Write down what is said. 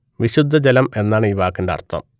വിശുദ്ധ ജലം എന്നാണ് ഈ വാക്കിന്റെ അർത്ഥം